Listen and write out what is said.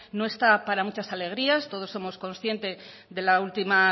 no está para muchas alegrías todos somos conscientes de la última